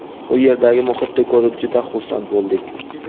u yerdagi muhitni ko‘rib juda xursand bo‘ldik.